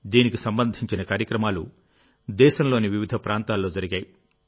దీనికి సంబంధించిన కార్యక్రమాలు దేశంలోని వివిధ ప్రాంతాల్లో జరిగాయి